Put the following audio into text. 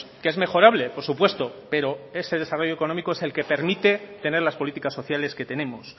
que es mejorable por supuesto pero ese desarrollo económico es el que permite tener las políticas sociales que tenemos